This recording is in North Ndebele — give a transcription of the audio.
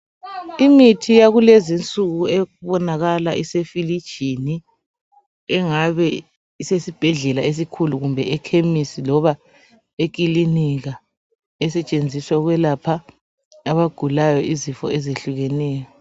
Imithi yakulezinsuku ebonakala isefilijini engabe isesibhedlela esikhulu Kumbe ekhemisi loba ekilinika esetshenziswa ukwelapha abagulayo izifo ezehlukeneyo